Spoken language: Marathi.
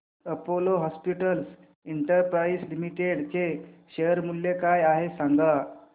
अपोलो हॉस्पिटल्स एंटरप्राइस लिमिटेड चे शेअर मूल्य काय आहे सांगा